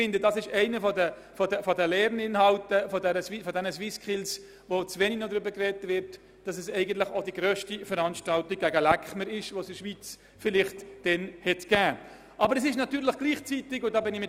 Ich finde, dass einer der Lernaspekte der SwissSkills viel zu wenig Beachtung findet, nämlich, dass es sich um die grösste Veranstaltung gegen den «Läckmer» handelt, die es zu diesem Zeitpunkt in der Schweiz gegeben hat.